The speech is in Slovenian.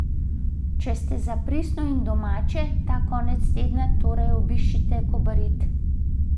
Če ste za pristno in domače, ta konec tedna torej obiščite Kobarid.